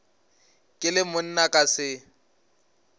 ke le monna ka se